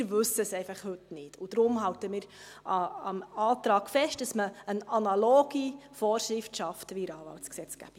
Wir wissen es heute einfach nicht, und deshalb halten wir am Antrag fest, dass man eine analoge Vorschrift schafft wie in der Anwaltsgesetzgebung.